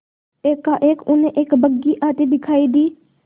एकाएक उन्हें एक बग्घी आती दिखायी दी